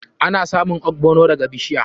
Ana samun ogbono daga bishiya.